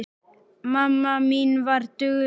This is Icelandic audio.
Mamma mín var dugleg.